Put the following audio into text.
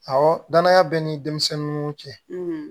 Awɔ danaya bɛ ni denmisɛnnu cɛ